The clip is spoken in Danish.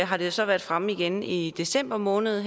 har det så været fremme igen i december måned